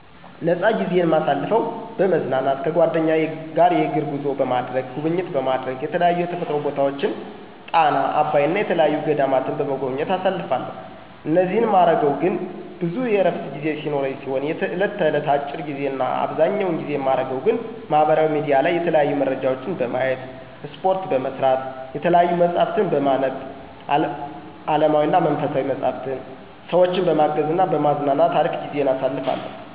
ፃነ ጊዜይን ማሳልፈው፦ በመዝናናት ከጓደኛ ጋር የእግር ጉዞ በማድረግ፣ ጉብኝት በማረግ የተለያዩ የተፈጥሮ ቦታወችን ጣና፣ አባይ እና የተየያዩ ገዳማትን በመጎብኘት አሳልፋለሁ እኒህን ማረገው ግን ብዙ የእረፍት ጊዜ ሲኖረኝ ሲሆን የእየለት እለት አጭር ጊዜ እና አብዘኛውን ጊዜ ማረገው ግን ማህበራዊ ሚዲያ ላይ የተለያዩ መረጃወችን በማየት፣ እስፓርት በመስራት፣ የተያዩ መፅሀፍትን በማንብ አለማዊና መንፈሳዊ፣ ሰወችን በማገዝ እና በማዝናናት አሪፍ ጊዜን አሳልፋለሁ።